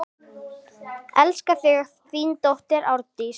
Elska þig, þín dóttir, Ásdís.